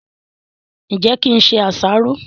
ǹjẹ́ kí n se àsáró?